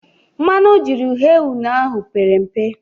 Mmanụ o jiri ghee une ahụ pere mbe.